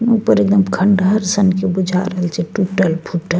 ऊपर एकदम खंडहर सन के बुझा रहल छे टुटल-फुटल।